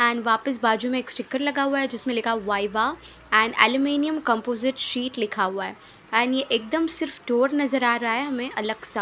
And वापस बाजू में एक स्टिकर लगा हुआ है जिसमें लिखा है Viva and aluminium composite sheet लिखा हुआ है एंड ये एकदम से स्टोर नजर आ रहा है हमें अलग सा।